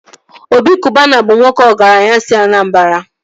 Obi Kụbana bụ nwoke ọgaranya si Anambara